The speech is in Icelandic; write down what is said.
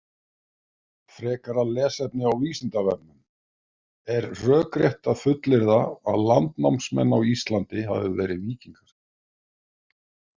Frekara lesefni á Vísindavefnum: Er rökrétt að fullyrða að landnámsmenn á Íslandi hafi verið víkingar?